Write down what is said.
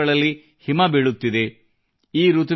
ಬಹಳಷ್ಟು ಸ್ಥಳಗಳಲ್ಲಿ ಹಿಮ ಬೀಳುತ್ತಿದೆ